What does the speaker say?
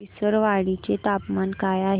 विसरवाडी चे तापमान काय आहे